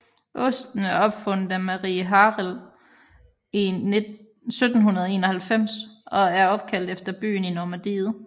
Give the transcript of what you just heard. Osten er opfundet af Marie Harel i 1791 og er opkaldt efter byen i Normandiet